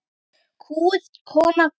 Kúguð kona, dóttir.